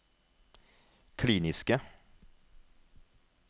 kliniske